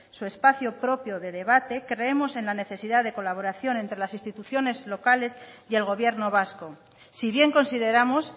su espacio propio de debate creemos en la necesidad de colaboración entre las instituciones locales y el gobierno vasco si bien consideramos